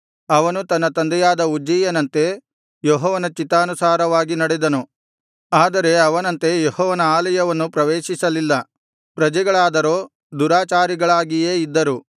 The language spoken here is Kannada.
ಅವನು ತನ್ನ ತಂದೆಯಾದ ಉಜ್ಜೀಯನಂತೆ ಯೆಹೋವನ ಚಿತ್ತಾನುಸಾರವಾಗಿ ನಡೆದನು ಆದರೆ ಅವನಂತೆ ಯೆಹೋವನ ಆಲಯವನ್ನು ಪ್ರವೇಶಿಸಲಿಲ್ಲ ಪ್ರಜೆಗಳಾದರೋ ದುರಾಚಾರಿಗಳಾಗಿಯೇ ಇದ್ದರು